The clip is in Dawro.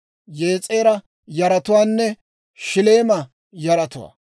Yes'eera yaratuwaanne Shilleema yaratuwaa.